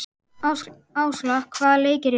Ásla, hvaða leikir eru í kvöld?